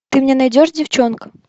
ты мне найдешь девчонка